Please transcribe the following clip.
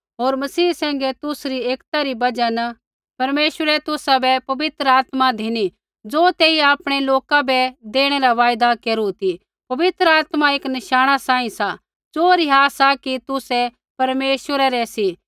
होर मसीह सैंघै तुसरी एकता री बजहा न परमेश्वरै तुसाबै पवित्र आत्मा धिनी ज़ो तेइयै आपणै लोका बै देणै रा वायदा केरू ती पवित्र आत्मा एक नशाणा सांही सा ज़ो रिहा सा कि तुसै परमेश्वरा रै सी